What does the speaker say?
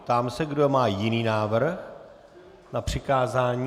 Ptám se, kdo má jiný návrh na přikázání.